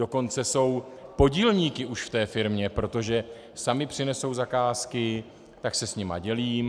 Dokonce jsou podílníky už v té firmě, protože sami přinesou zakázky, tak se s nimi dělím.